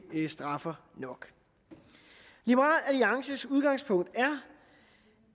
straffer nok liberal alliances udgangspunkt